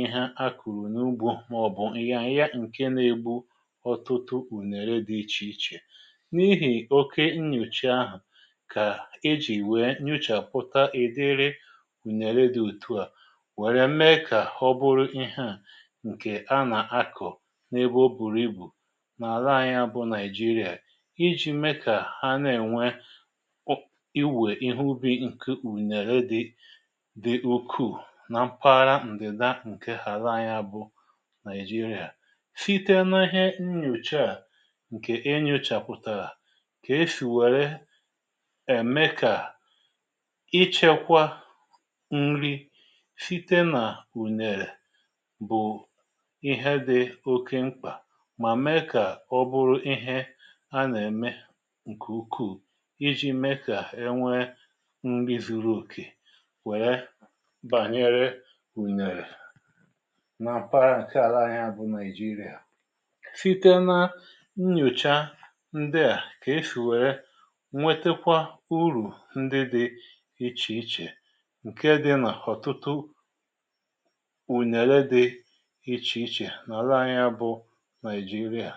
ịhe a kụ̀rụ̀ n’ugbȯ màọ̀bụ̀ ịyaya ǹke na-egbu ọtụtụ ùnàra dị̇ ichè ichè n’ihì oke nnyòcha ahụ̀ kà e jì wee nyochàpụta edere ùnere dị̀ òtù a wère mee kà ọ bụrụ ịhe a nke ana ako ebe oburu ibu nà àla anyi̇ a bụ̇ nigeria. iji̇ mee kà ha na-ènwe pụ̀ inwèe ihe ubi̇ ǹkè ùnèrè dị dị̀ ukwuu nà mpaghara ǹdị̀da ǹke ha àla anyi̇ a bụ̇ nigeria site na ihe nnyòcha a ǹkè enyòchàpụ̀tàrà ka e sì wèrè ème kà ichėkwa nri site nà ùnyèrè bụ̀ ihe dị̀ oke mkpà mà mee kà ọ bụrụ ihe a nà-ème ǹkè ukwuù iji mee kà e nwee ndị zuru okè wèe bànyere ùnèrè nà m̀para ǹke àla anyi a bụ nàịjirịa site na nnyòcha ndị à kà esì wère nnwetekwa urù ndị dị ichèichè ǹke dị nà ọ̀tụtụ ùnère dị ichèichè nà ala anyị bụ naijiria.